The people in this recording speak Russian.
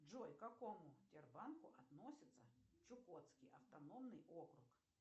джой к какому сбербанку относится чукотский автономный округ